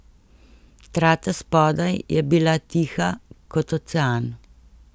Trata spodaj je bila tiha kot ocean.